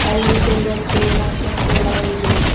ಅಲ್ಲಿ ತೂಗಕ್ಕೆ ಮಷೀನ್ ಕೂಡ ಇದೆ.